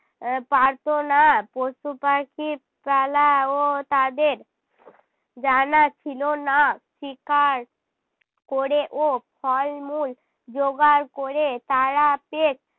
আহ পারতো না। পশু-পাখির ও তাদের জানা ছিল না। শিকার ক'রে ও ফল-মূল জোগাড় ক'রে তারা পেট